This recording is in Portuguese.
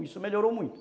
Isso melhorou muito.